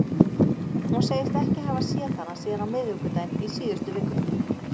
Hún segist ekki hafa séð hana síðan á miðvikudaginn í síðustu viku.